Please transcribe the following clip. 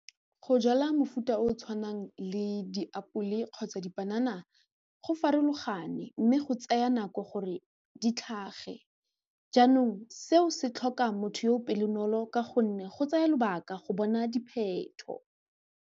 Go jala mofuta o o tshwanang le diapole kgotsa dipanana go farologane mme go tsaya nako gore di tlhage jaanong seo se tlhoka motho yo pelonolo ka gonne go tsaya lobaka go bona dipheto.